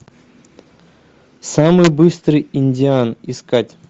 самый быстрый индиан искать